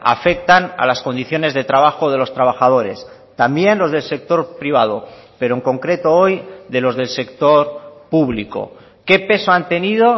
afectan a las condiciones de trabajo de los trabajadores también los del sector privado pero en concreto hoy de los del sector público qué peso han tenido